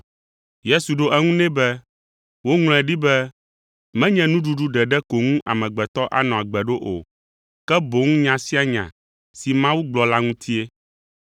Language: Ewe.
Yesu ɖo eŋu nɛ be, “Woŋlɔe ɖi be, ‘Menye nuɖuɖu ɖeɖe ko ŋu amegbetɔ anɔ agbe ɖo o, ke boŋ nya sia nya si Mawu gblɔ la ŋutie.’ ”